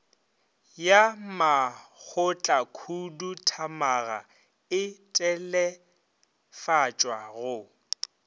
ya makgotlakhuduthamaga e telefatswa go